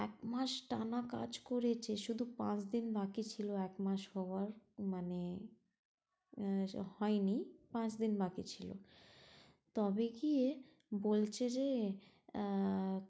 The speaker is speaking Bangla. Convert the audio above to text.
এক মাস টানা কাজ করেছে শুধু পাঁচ দিন বাকি ছিলো এক মাস হওয়ার মানে আহ সে হয়নি পাঁচ দিন বাকি ছিলো তবে কী বলছে যে আহ